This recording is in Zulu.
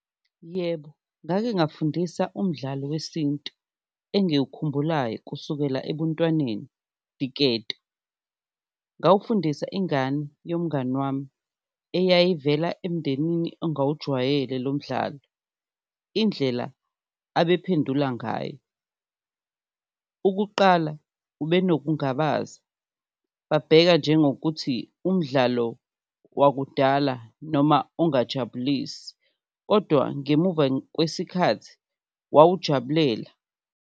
Yebo, ngake ngafundisa umdlalo wesintu engiwukhumbulayo kusukela ebuntwaneni diketo, ngawufundisa ingane yomngani wami eyayivela emndenini ongawujwayele lo mdlalo. Indlela abephendula ngayo, ukuqala ubenokungabaza babheka njengokuthi umdlalo wakudala noma ongajabulisi kodwa ngemuva kwesikhathi wawujabulela.